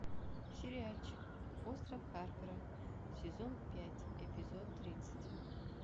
сериальчик остров харпера сезон пять эпизод тридцать